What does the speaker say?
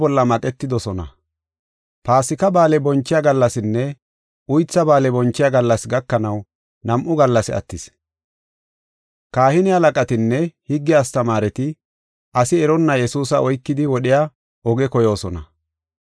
Paasika Ba7aale bonchiya gallasinne Uytha Ba7aale bonchiya gallasi gakanaw nam7u gallasi attis. Kahine halaqatinne higge astamaareti asi eronna Yesuusa oykidi wodhiya oge koyoosona.